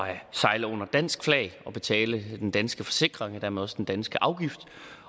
at sejle under dansk flag og betale den danske forsikring og dermed også den danske afgift